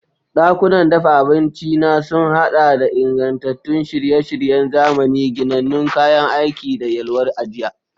Dakunan dafa abinci na sun haɗa da ingantattun shirye-shiryen zamani, ginannun kayan aiki, da yalwar ajiya.